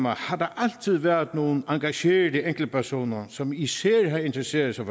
har der altid været nogle engagerede enkeltpersoner som især har interesseret sig